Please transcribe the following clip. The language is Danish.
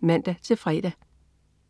(man-fre)